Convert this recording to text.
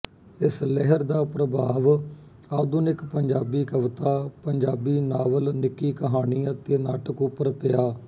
ਇਸ ਲਹਿਰ ਦਾ ਪ੍ਰਭਾਵ ਆਧੁਨਿਕ ਪੰਜਾਬੀ ਕਵਿਤਾਪੰਜਾਬੀ ਨਾਵਲਨਿੱਕੀ ਕਹਾਣੀ ਅਤੇ ਨਾਟਕ ਉੱਪਰ ਪਿਆ